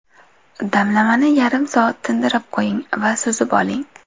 Damlamani yarim soat tindirib qo‘ying va suzib oling.